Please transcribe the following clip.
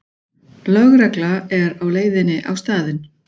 Lögregla er á leiðinni á staðinn